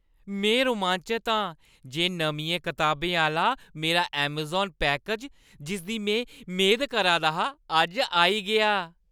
में रोमांचत आं जे नमियें कताबें आह्‌ला मेरा ऐमज़ान पैकेज, जिसदी में मेद करा दा हा, अज्ज आई गेआ।